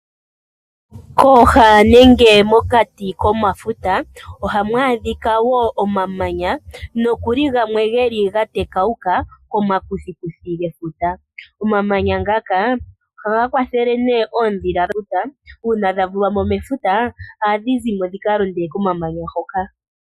Kooha nenge mokati komafuta oha mwadhika woo omamanya nokuli gamwe geli ga tekawuka koma kuthikuthi gefuta. Omamanya ngaka ohaga kwathele nee oodhila luta uuna dha vulwamo mefuta aadhi zimo dhi kalonde ko mamanya hoka